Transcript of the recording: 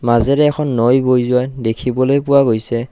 মাজেৰে এখন নৈ বৈ যোৱা দেখিবলৈ পোৱা গৈছে।